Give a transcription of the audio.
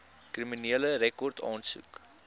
kriminele rekord aansoek